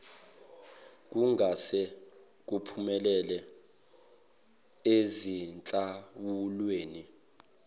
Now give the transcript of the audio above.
kungase kuphumele ezinhlawulweni